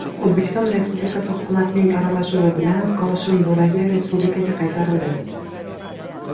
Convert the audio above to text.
O‘zbekiston Respublikasi hukumatining aralashuvi bilan koshin bo‘lagi respublikaga qaytarildi.